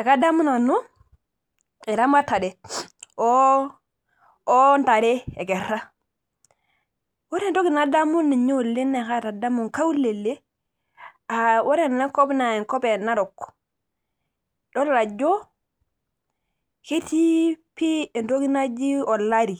Ekadamu nanu eramatare oo ntare ekera, ore entoki nadamu inye oleng' naa atadamu inakaulele aa ore ena kop naa enkop ee Narok idol ajo ketii pii entoki naji olari